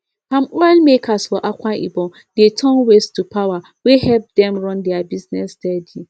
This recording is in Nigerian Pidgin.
cocoa people for ondo dey sell in better better way so foreign people go buy their cocoa.